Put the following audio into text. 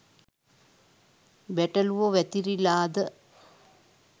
බැටළුවො වැතිරිලාද